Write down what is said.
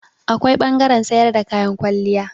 Akwai ɓangaren sayar da kayan kwalliya.